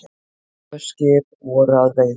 Tvö skip voru að veiðum.